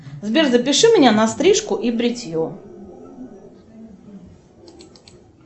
сбер запиши меня на стрижку и бритье